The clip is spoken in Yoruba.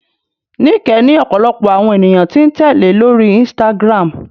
Nike ní ọ̀pọ̀lọpọ̀ àwọn ènìyàn tí ń tẹ́lẹ̀ lórí Instagram